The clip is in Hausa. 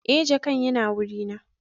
eh jakan Yana wurina